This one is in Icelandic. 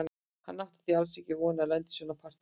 Hann átti því alls ekki von á að lenda í svona partíi.